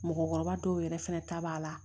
Mɔgɔkɔrɔba dɔw yɛrɛ fɛnɛ ta b'a la